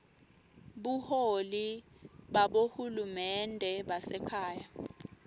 buholi babohulumende basekhaya